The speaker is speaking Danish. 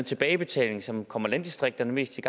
tilbagebetaling som kommer landdistrikterne mest til